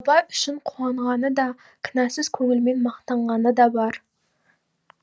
бай үшін қуанғаны да кінәсіз көңілмен мақтанғаны да бар